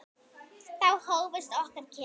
Þá hófust okkar kynni.